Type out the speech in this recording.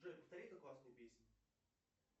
джой повтори эту классную песню